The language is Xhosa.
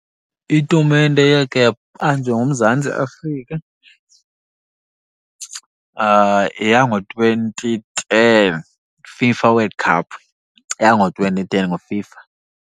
Itumente eyakhe yabanjwa nguMzantsi Afrika yeyango-twenty ten FIFA World Cup, yeyango-twenty ten ngoFIFA.